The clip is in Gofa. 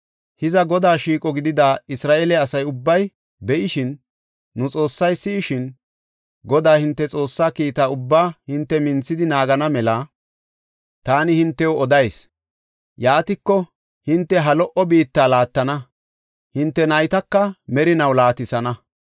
Hiza Godaa shiiqo gidida Isra7eele asa ubbay be7ishin, nu Xoossay si7ishin, Godaa hinte Xoossaa kiita ubbaa hinte minthidi naagana mela taani hintew odayis. Yaatiko, hinte ha lo77o biitta laattana; hinte naytaka merinaw laatisana.